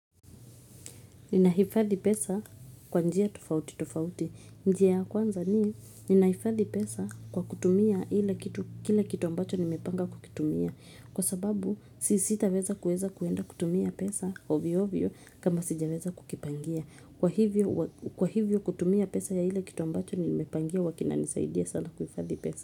Ninahifadhi pesa kwa njia tofauti tofauti. Njia ya kwanza ni ninahifadhi pesa kwa kutumia ile kitu ambacho nimepanga kukitumia. Kwa sababu si sitaweza kuweza kwenda kutumia pesa ovy ovyo kama sijaweza kukipangia. Kwa hivyo kutumia pesa ya ile kitu ambacho nimepangia hua kinanisaidia sana kuhifadhi pesa.